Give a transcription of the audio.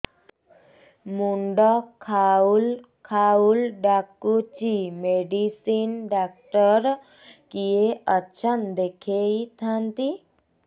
ମୁଣ୍ଡ ଖାଉଲ୍ ଖାଉଲ୍ ଡାକୁଚି ମେଡିସିନ ଡାକ୍ତର କିଏ ଅଛନ୍ ଦେଖେଇ ଥାନ୍ତି